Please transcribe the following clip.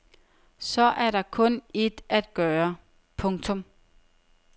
Så er der kun ét at gøre. punktum